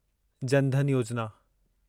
जन धन योजिना